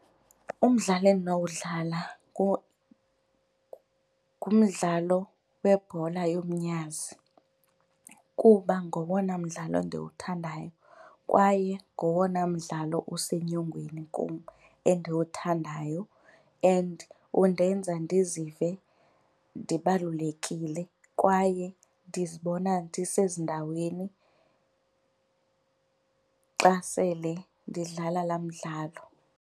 Umdlalo endinowudlala ngumdlalo webhola yomnyazi kuba ngowona mdlalo ndiwuthandayo kwaye ngowona mdlalo usenyongweni kum endiwuthandayo and undenza ndizive ndibalulekile kwaye ndizibona ndisezindaweni xa sele ndidlala laa mdlalo.